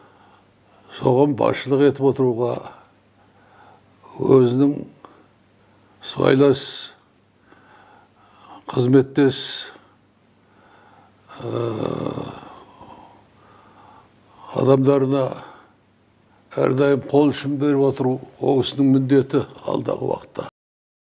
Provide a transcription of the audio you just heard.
соған басшылық етіп отыруға өзінің сыбайлас қызметтес адамдарына әрдайым қол ұшын беріп отыру ол кісінің міндеті алдағы уақытта